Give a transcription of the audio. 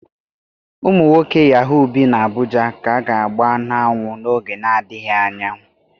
Ụmụ nwoke Yaahuu bi n'Abuja ka a ga-agba n'anwụ n'oge na-adịghị anya.